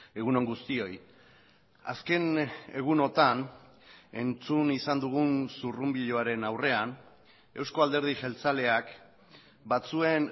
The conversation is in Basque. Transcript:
egun on guztioi azken egunotan entzun izan dugun zurrunbiloaren aurrean eusko alderdi jeltzaleak batzuen